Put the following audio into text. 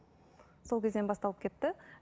сол кезден басталып кетті